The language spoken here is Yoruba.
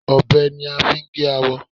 Ọbẹ̀ ni a máa fi gé awọ.